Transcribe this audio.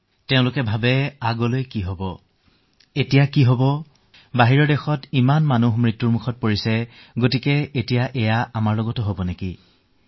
তেওঁলোকে ভাবে যে এতিয়া কি হব আগলৈ কি হব অন্য দেশৰ লোক ইমানকৈ মৃত্যু মুখত পৰিছে যেতিয়া আমাৰ সৈতেও এয়াই হব